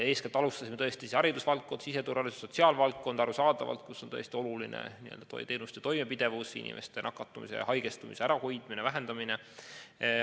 Eeskätt alustasime tõesti haridus-, siseturvalisus- ja sotsiaalvaldkonnast, kus on oluline teenuste toimepidevus, inimeste nakatumise ja haigestumise ärahoidmine ja vähendamine.